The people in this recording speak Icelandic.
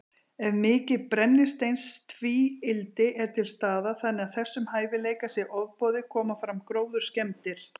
Ef mikið brennisteinstvíildi er til staðar, þannig að þessum hæfileika sé ofboðið, koma fram gróðurskemmdir.